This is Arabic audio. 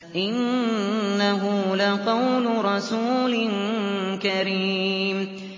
إِنَّهُ لَقَوْلُ رَسُولٍ كَرِيمٍ